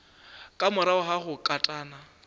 ka morago ga go katana